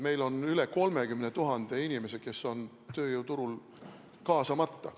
Meil on üle 30 000 inimese, kes on tööjõuturul kaasamata.